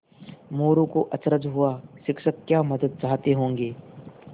मोरू को अचरज हुआ शिक्षक क्या मदद चाहते होंगे